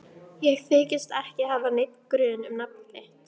Ég þykist ekki hafa neinn grun um nafn þitt.